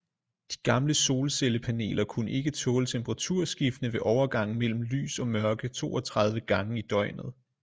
De gamle solcellepaneler kunne ikke tåle temperaturskiftene ved overgangen mellem lys og mørke 32 gange i døgnet